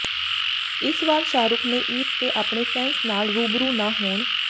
ਇਸ ਵਾਰ ਸ਼ਾਹਰੁਖ ਨੇੇ ਈਦ ਤੇ ਆਪਣੇ ਫੈਨਸ ਨਾਲ ਰੂਬੁਰੂ ਨਾ ਹੋਣ